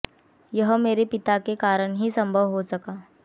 यह मेरे पिता के कारण ही संभव हो सका